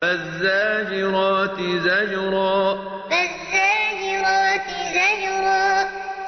فَالزَّاجِرَاتِ زَجْرًا فَالزَّاجِرَاتِ زَجْرًا